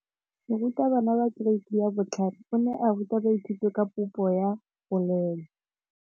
Moratabana wa kereiti ya 5 o ne a ruta baithuti ka popô ya polelô.